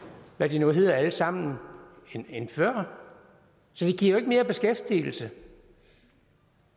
hvad de hedder alle sammen end før så det giver jo ikke mere beskæftigelse